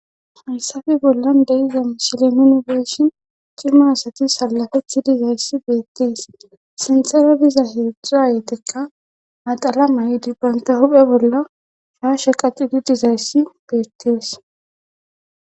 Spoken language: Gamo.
Hayssafe bollan deyiza mishile nuni be7ishin girma asati salafeti dizayssi beettees sinthera diza heedzdzaa yeetekka naxala may dibbaynta huphe bolla shaashe qacidi dizayssi beettees.